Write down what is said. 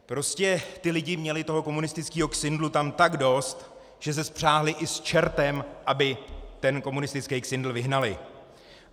Prostě ti lidé měli toho komunistického ksindlu tam tak dost, že se spřáhli i s čertem, aby ten komunistický ksindl vyhnali.